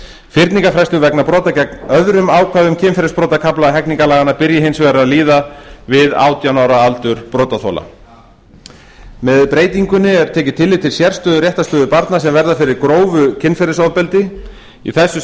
fyrningarfrestur vegna brota gegn öðrum ákvæðum kynferðisbrotakafla hegningarlaganna byrji hins vegar að líða við átján ára aldur brotaþola með breytingunni er tekið tillit til sérstöðu réttarstöðu barna sem verða fyrir grófu kynferðisofbeldi í þessu